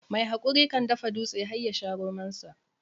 Mai hakuri kan dafa dutse har yasha romonsa.